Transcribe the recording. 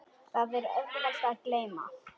Það er auðvelt að gleyma.